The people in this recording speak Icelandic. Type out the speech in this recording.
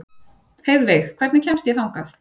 Heiðveig, hvernig kemst ég þangað?